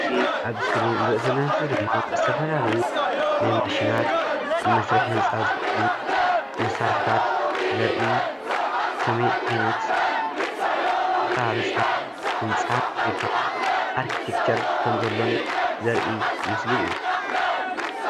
እዚ ኣብ እስክሪን ንሪኦ ዘለና ምስሊ ድማ ዝተፈላለዩ ናይ ማሽናት ንመስርሒ ህንፃ ዝጠቅሙ መሳርሕታት ዘርእን ከመይ ዓይነት ኣቀራርፃ ህንፃ ወይ ከዓ ኣርክቴክቸር ከምዘሎን ዘርኢ ምስሊ እዩ ።